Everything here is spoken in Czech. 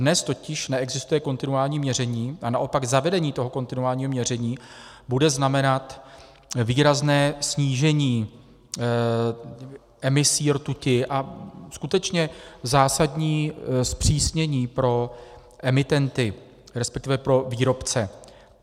Dnes totiž neexistuje kontinuální měření a naopak zavedení toho kontinuálního měření bude znamenat výrazné snížení emisí rtuti a skutečně zásadní zpřísnění pro emitenty, respektive pro výrobce.